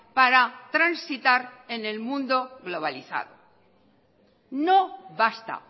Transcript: para transitar en el mundo globalizado no basta